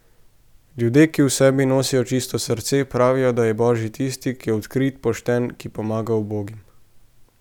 Ljudje, ki v sebi nosijo čisto srce, pravijo, da je božji tisti, ki je odkrit, pošten, ki pomaga ubogim.